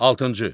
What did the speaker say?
Altıncı.